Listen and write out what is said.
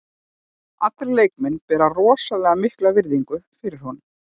Allir leikmenn bera rosalega mikla virðingu fyrir honum.